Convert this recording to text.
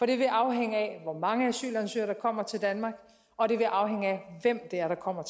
det vil afhænge af hvor mange asylansøgere der kommer til danmark og det vil afhænge af hvem der kommer